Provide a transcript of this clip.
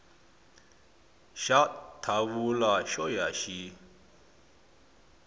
xa thawula xo ya xi